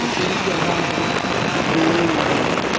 Eu tenho que andar no velocípede dele.